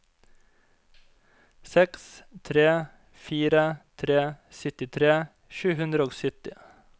seks tre fire tre syttitre sju hundre og sytti